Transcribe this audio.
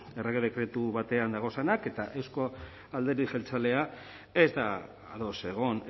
errege dekretu batean daudenak eta euzko alderdi jeltzalea ez da ados egon